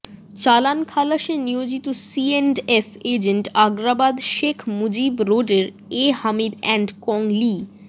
চালান খালাসে নিয়োজিত সিএন্ডএফ এজেন্ট আগ্রাবাদ শেখ মুজিব রোডের A Hamid and co Li